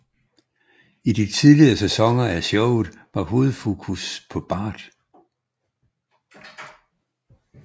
I de tidlige sæsoner af showet var hovedfokus på Bart